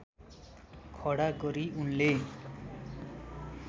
खडा गरी उनले